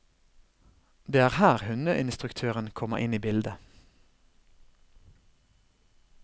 Det er her hundeinstruktøren kommer inn i bildet.